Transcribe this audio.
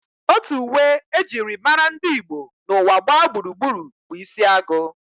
Otu uwe e jiri mara ndị Igbo n'ụwa gbaa gburugburu bụ isi agụ